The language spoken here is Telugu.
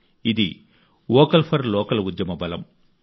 ఇది వోకల్ ఫర్ లోకల్ ఉద్యమ బలం